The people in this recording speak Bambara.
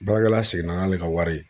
Baarakɛla seginna n'ale ka wari ye.